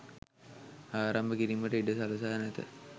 ආරම්භ කිරීමට ඉඩ සලසා නැත